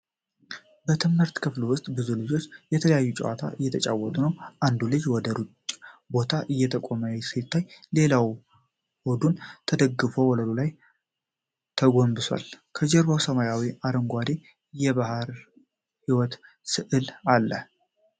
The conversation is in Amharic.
በትምህርት ክፍል ውስጥ ብዙ ልጆች የተለያዩ ጨዋታዎችን እየተጫወቱ ነው። አንዱ ልጅ ወደ ሩቅ ቦታ እየጠቆመ ሲታይ፣ ሌላው ሆዱን ተደፍቶ ወለሉ ላይ ተጎንብሷል። ከጀርባ ሰማያዊና አረንጓዴ የባህር ሕይወት ስዕል አለ?